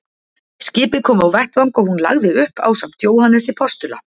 Skipið kom á vettvang og hún lagði upp ásamt Jóhannesi postula.